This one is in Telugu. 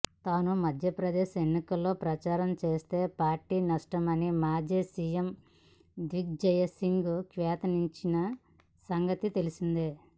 తాను మధ్యప్రదేశ్ ఎన్నికల్లో ప్రచారం చేస్తే పార్టీకి నష్టమని మాజీ సీఎం దిగ్విజయ్ సింగ్ వ్యాఖ్యానించిన సంగతి తెలిసిందే